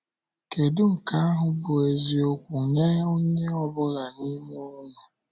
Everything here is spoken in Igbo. Kedụ nke ahụ bụ eziokwu nye onye ọ bụla n’ime unu.